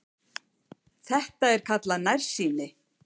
Þetta er kallað nærsýni.